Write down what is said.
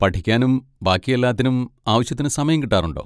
പഠിക്കാനും ബാക്കി എല്ലാത്തിനും ആവശ്യത്തിന് സമയം കിട്ടാറുണ്ടോ?